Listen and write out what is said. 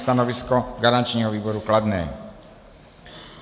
Stanovisko garančního výboru kladné.